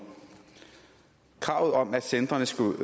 kravet om at centrene skulle